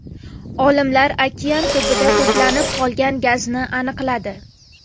Olimlar okean tubida to‘planib qolgan gazni aniqladi.